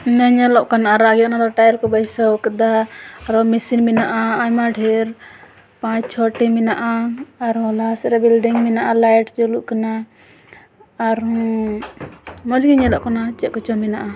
ᱦᱟᱱᱮ ᱧᱮᱞᱚᱜ ᱠᱟᱱ ᱟᱨᱟᱜ ᱜᱤ ᱚᱱᱟ ᱰᱚ ᱴᱟᱭᱤᱞ ᱠᱩ ᱵᱟᱹᱭᱥᱟᱹᱭ ᱟᱠᱟᱫᱟ ᱟᱨᱦᱚ ᱢᱤᱥᱤᱱ ᱢᱮᱱᱟᱜ-ᱟ ᱟᱭᱢᱟ ᱰᱷᱤᱨ ᱯᱟᱪ ᱪᱷᱚ ᱴᱤ ᱢᱮᱱᱟᱜ-ᱟ ᱟᱨᱦᱚ ᱞᱟᱦᱟ ᱥᱮᱡ ᱨᱮ ᱵᱤᱞᱰᱤᱸᱜ ᱢᱮᱱᱟᱜᱼᱟ ᱞᱟᱭᱤᱴ ᱡᱩᱞᱩᱜ ᱠᱟᱱᱟ ᱟᱨᱦᱚ ᱢᱚᱡ ᱜᱤ ᱧᱮᱞᱚᱜ ᱠᱟᱱᱟ ᱪᱮᱫ ᱠᱚ ᱪᱚ ᱢᱮᱱᱟᱜ-ᱟ᱾